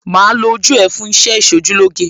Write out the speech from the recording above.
Màá lo ojú ẹ fún iṣẹ́ Ìṣojúlóge.